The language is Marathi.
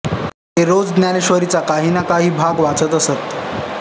ते रोज ज्ञानेश्वरीचा काही ना काही भाग वाचत असत